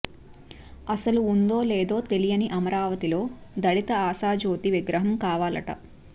అసలు ఉందో లేదో తెలియని అమరావతిలో దళిత ఆశాజ్యోతి విగ్రహం కావాలట